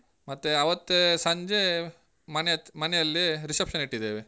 ಮತ್ತೆ ಆವತ್ತೇ ಸಂಜೇ ಮನೆ ಹ ಮನೆಯಲ್ಲಿ reception ಇಟ್ಟಿದ್ದೇವೆ.